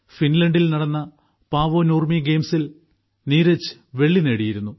ഫിൻലൻഡിൽ നടന്ന പാവോനൂർമി ഗെയിംസിൽ നീരജ് വെള്ളി നേടിയിരുന്നു